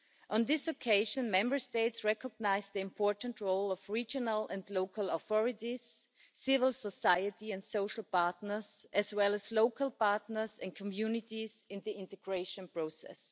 On this occasion, Member States recognised the important role of regional and local authorities, civil society and social partners, as well as local partners and communities in the integration process.